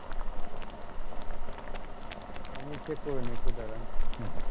আমি check করে নি একটু দাড়ান